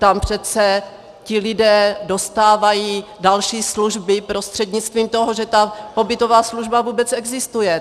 Tam přece ti lidé dostávají další služby prostřednictvím toho, že ta pobytová služba vůbec existuje.